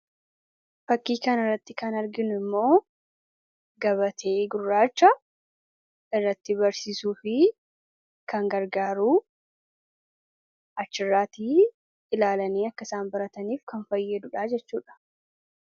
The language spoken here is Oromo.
fakkii kan irratti kan arginnu immoo gabatee gurraacha irratti barsiisuu fi kan gargaaruu achirraatii ilaalanii akkasaan barataniif kan fayyee dudhaa jechuudha